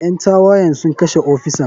Ƴan tawayen sun kashe ofisan.